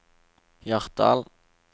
Hjartdal